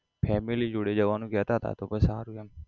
Family જોડે જવાનું કહેતા હતા તો સારું એમ